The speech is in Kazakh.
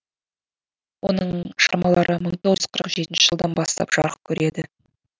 оның шығармалары мың тоғыз жүз қырық жетінші жылдан бастап жарық көреді